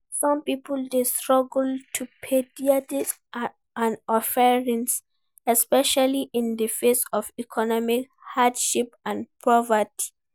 Some people dey struggle to pay dia tithes and offerings, especially in di face of economic hardship and poverty.